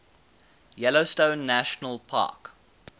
yellowstone national park